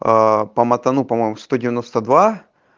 аа по матану по-моему сто девяносто два